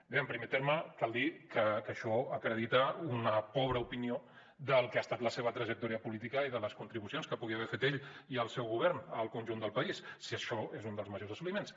bé en primer terme cal dir que això acredita una pobra opinió del que ha estat la seva trajectòria política i de les contribucions que puguin haver fet ell i el seu govern al conjunt del país si això és un dels majors assoliments